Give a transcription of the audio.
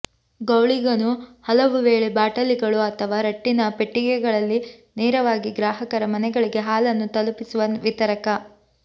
ಗೌಳಿಗನು ಹಲವುವೇಳೆ ಬಾಟಲಿಗಳು ಅಥವಾ ರಟ್ಟಿನ ಪೆಟ್ಟಿಗೆಗಳಲ್ಲಿ ನೇರವಾಗಿ ಗ್ರಾಹಕರ ಮನೆಗಳಿಗೆ ಹಾಲನ್ನು ತಲುಪಿಸುವ ವಿತರಕ